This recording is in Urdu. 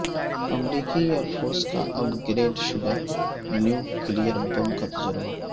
امریکی ایئر فورس کا اپ گریڈ شدہ نیوکلیئر بم کا تجربہ